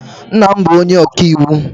Nna m bụ onye ọka iwu.